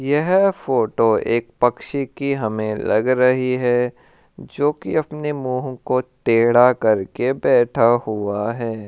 यह फ़ोटो एक पक्षी कि हमे लग रही है जो की अपने मुह को टेढ़ा करके बैठा हुआ है।